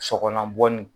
Sɔgɔlan bɔ ni